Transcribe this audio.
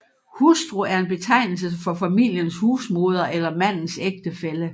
Hustru er en betegnelse for familiens husmoder eller mandens ægtefælle